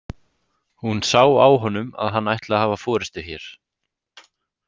Hún sá á honum að hann ætlaði að hafa forystu hér.